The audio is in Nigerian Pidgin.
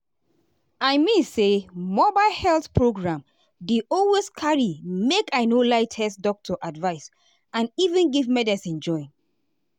i mean say mobile health program dey always carry make i no lie test doctor advice and even give medicine join.